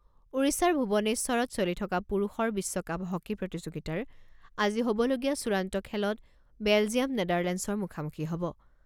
ওড়িশাৰ ভুৱনেশ্বৰত চলি থকা পুৰুষৰ বিশ্বকাপ হকী প্ৰতিযোগিতাৰ আজি হ'বলগীয়া চূড়ান্ত খেলত বেলজিয়াম নেদাৰলেণ্ডচৰ মুখামুখি হ'ব।